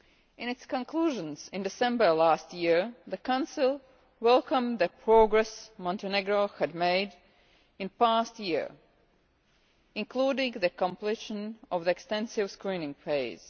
In its conclusions in December last year, the Council welcomed the progress Montenegro had made in the past year, including the completion of the extensive screening phase.